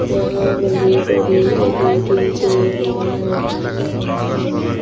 यहाँ बड़ी-बड़ी एलईडी टेवियां रखी हुई है।